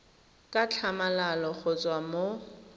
ka tlhamalalo go tswa mo